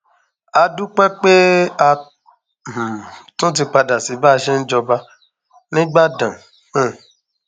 a dúpẹ pé a um tún ti padà sí báa ṣe ń jọba nígbàdàn um